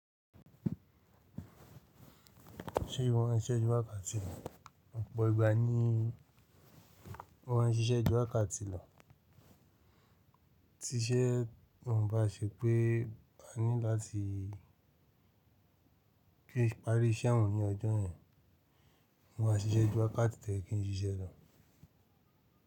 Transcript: Ṣé ìwọ ń ṣiṣẹ́ ju wákàtí lọ? Ọ̀pọ̀ ìgbà ni wọ́n ń ṣiṣẹ́ ju wákàtí lọ, tí ṣé ò ń ba ṣe pé mo ní láti parí iṣẹ́ yen ní ọjọ́ yen. Wọ́n máa ṣiṣẹ́ ju wákàtí tó yé kí n ṣiṣẹ́ lọ.